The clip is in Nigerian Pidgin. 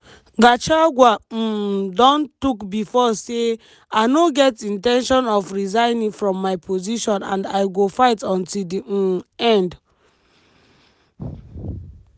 gauchagua um don tok before say: "i no get in ten tion of resigning from my position and i go fight until di um end."